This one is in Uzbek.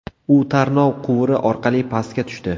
U tarnov quvuri orqali pastga tushdi.